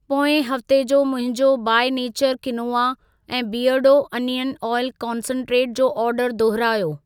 पोएं हफ्ते जो मुंहिंजो बाई नेचर क्विनोआ ऐं बीयरडो अनियन ऑइल कंसन्ट्रेट, जो ऑर्डर दुहिरायो।